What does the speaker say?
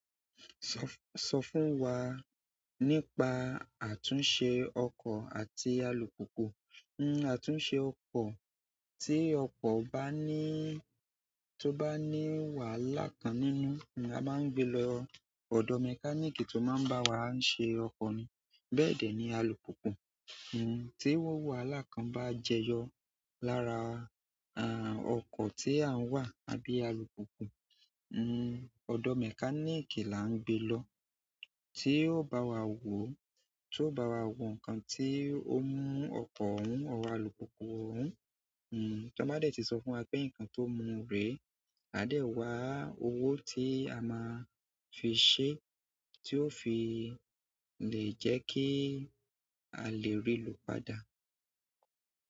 So f, so fún wa, nípa àtúnṣe oko àti alùpùpù. Hmm àtúnṣe ọkọ̀, tí ọkọ̀ bá ní, tó bá ní wàhálà kan nínú, a máa ń gbe lọ ọ̀dọ̀ mechanic tó máa ń bá wa ṣe ọkọ̀ ni. Bẹ́ẹ̀ dẹ̀ ni alùpùpù. Hmm tí owó wàhálà kan bá jẹyọ lára, à, ọkọ̀ tí à ń wa àbí alùpùpù, hmm ọ̀dọ̀ mechanic là ń gbe lọ tí ó bá wa wò, tí ó bá wa wò nǹkan tí ó mú ọkọ̀ ohùn or alùpùpù ohùn. Hmm tó bá dé tí sọ fún wa pé nǹkan tó mú rè, a dẹ̀ wa owó tí a máa fi ṣe, tí ó fi le jẹ́ kí a lè rí i lò padà.